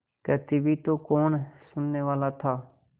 कहती भी तो कौन सुनने वाला था